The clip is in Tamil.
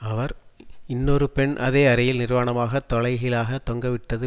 அவர் இன்னொரு பெண் அதே அறையில் நிர்வாணமாக தலைகீழாக தொங்கவிட்டது